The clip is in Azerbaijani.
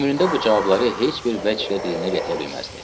Ömründə bu cavabları heç bir vəchlər dilinə gətirə bilməzdi.